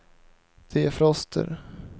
defroster